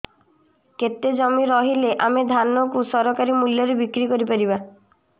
କେତେ ଜମି ରହିଲେ ଆମେ ଧାନ କୁ ସରକାରୀ ମୂଲ୍ଯରେ ବିକ୍ରି କରିପାରିବା